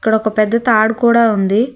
అక్కడ ఒక పెద్ద తాడు కూడ ఉంది.